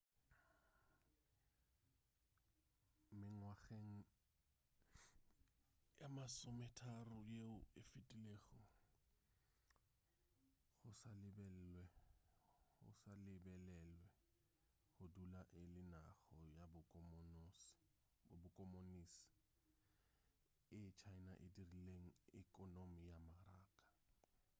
mengwageng ye masometharo yeo e fetilego go sa lebelelwe go dula e le naga ya bokomonisi china e dirile ekonomi ya maraka